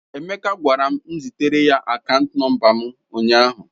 Emeka gwara m zitere ya akaant nọmba m ụnyaahụ.